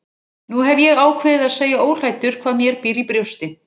Nú hef ég ákveðið að segja óhræddur hvað mér býr í brjósti.